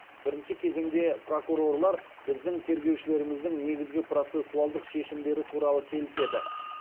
бірінші кезеңде прокурорлар біздің тергеушілеріміздің негізгі процессуалдық шешімдері туралы келіседі